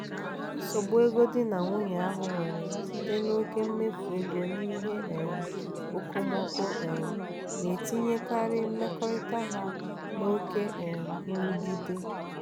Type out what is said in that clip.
nsogbu ego di na nwunye ahụ nwere site n'oke mmefu ego n'ihe um okomoko um na-etinyekarị mmekọrịta ha n'oké um nrụgide.